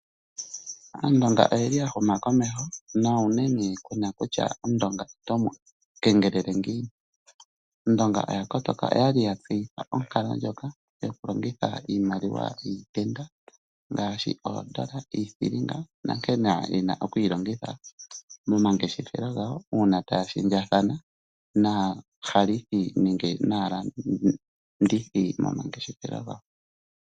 Aandonga oyeli ya huma komeho, na unene omundonga kuna kutya oto mu kengelele ngiini, aandonga oya kotoka , oyali ya tseya onkalo ndjoka yoku longitha iimaliwa yiitenda ngaashi: oodolla, iithilinga nankene yena okwiilongitha momangeshefelo gawo uuna taya shendja thana naahalithi nenge naalandithi momangeshefelo gawo.